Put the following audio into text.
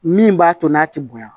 Min b'a to n'a ti bonya